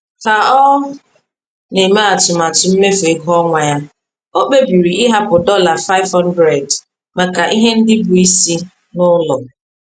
Ka o na-eme atụmatụ mmefu ego ọnwa ya, ọ kpebiri ịhapụ dollar 500 maka ihe ndị bụ isi n’ụlọ.